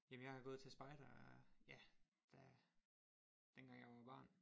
Jamen jeg har gået til spejder ja da dengang jeg var barn